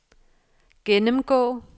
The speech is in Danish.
gennemgå